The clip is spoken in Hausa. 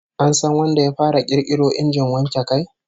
An san wanda ya fara kirkiro injin wanke kai?